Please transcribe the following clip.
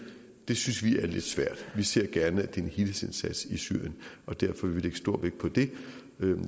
det synes vi er lidt svært vi ser gerne at det er en helhedsindsats i syrien og derfor vil vi lægge stor vægt på det